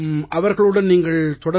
அவர்களுடன் நீங்கள் தொடர்பில்